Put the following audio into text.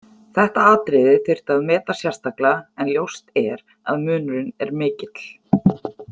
Þetta atriði þyrfti að meta sérstaklega en ljóst er að munurinn er mikill.